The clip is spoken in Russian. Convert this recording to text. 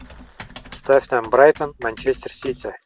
ставь нам брайтон манчестер сити